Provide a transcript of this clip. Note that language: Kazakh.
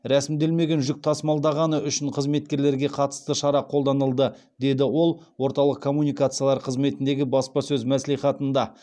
рәсімделмеген жүк тасымалдағаны үшін қызметкерлерге қатысты шара қолданылды деді ол орталық коммуникациялар қызметіндегі баспасөз мәслихатында